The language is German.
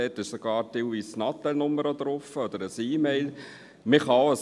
Teilweise steht sogar eine Handynummer oder eine E-Mail-Adresse dabei.